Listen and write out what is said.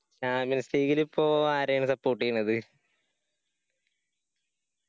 champions league ഇലിപ്പോ ആരെയാണ് support എയ്യുന്നത്?